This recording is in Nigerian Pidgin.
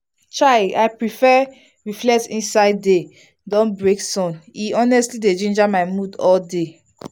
chai! i prefer reflect inside day don break sun e e honestly dey ginger my mood all day.